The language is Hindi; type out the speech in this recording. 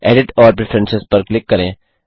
एडिट और प्रेफरेंस पर क्लिक करें